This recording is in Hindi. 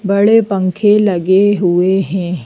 बड़े पंखे लगे हुए हैं।